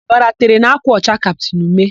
Ọbara tere n'ákwà ọcha kaptịn Ume.